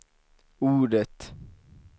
ordet